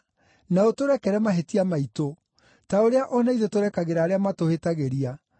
Na ũtũrekere mahĩtia maitũ, ta ũrĩa o na ithuĩ tũrekagĩra arĩa matũhĩtagĩria.